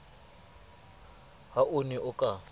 ha o ne o ka